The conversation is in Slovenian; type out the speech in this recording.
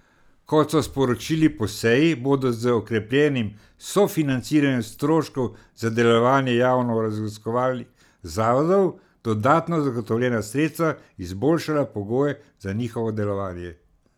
Kot so sporočili po seji, bodo z okrepljenim sofinanciranjem stroškov za delovanje javno raziskovalnih zavodov dodatno zagotovljena sredstva izboljšala pogoje za njihovo delovanje.